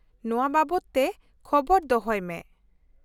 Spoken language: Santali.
ᱼᱱᱚᱶᱟ ᱵᱟᱵᱚᱫ ᱛᱮ ᱠᱷᱚᱵᱚᱨ ᱫᱚᱦᱚᱭ ᱢᱮ ᱾